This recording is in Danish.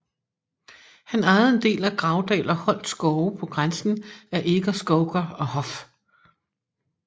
Han ejede en del af Gravdal og Holt skove på grænsen af Eger Skouger og Hoff